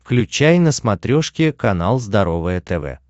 включай на смотрешке канал здоровое тв